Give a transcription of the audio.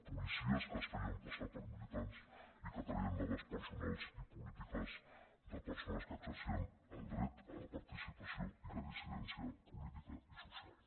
policies que es feien passar per militants i que treien dades personals i polítiques de persones que exercien el dret a la participació i la dissidència política i social